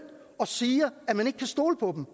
og siger at man ikke kan stole på